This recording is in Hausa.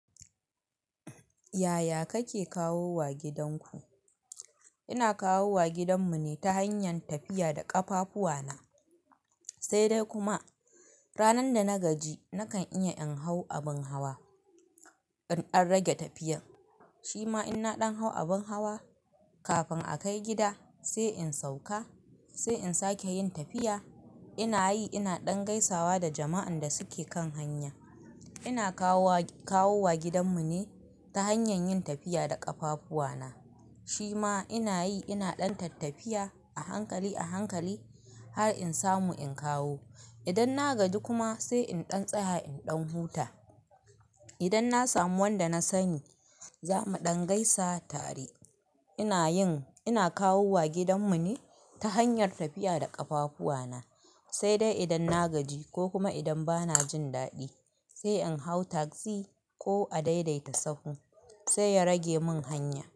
Yaya kake kawo wa gidanku? Ina kawo wa gidanmu ne ta hanyar tafiya da ƙafafuwa na. Sai dai kuma ranan da na gaji nakan iya in hau abin hawa in an rage tafiyar. Shi ma in na ɗan hau abin hawa kafin a kai gida sai in sauka sai in sake yin tafiya. Ina yi ina ɗan gaisawa da jama'an da suke kan hanya. Ina kawo wa, kawo wa gidanmu ne ta hanyar yin tafiya da ƙafafuwa na. Shi ma ina yi ina ɗan tattafiya a hankali a hankali har in samu in kawo. Idan na gaji kuma sai in ɗan tsaya in ɗan huta. Idan na samu wanda na sani za mu ɗan gaisa tare. Ina yin, ina kawo wa gidanmu ne ta hanyar tafiya da ƙafafuwa na. Sai dai idan na gaji ko kuma idan bana jin daɗi sai in hau tagzi ko a daidaita sahu sai ya rage mun hanya.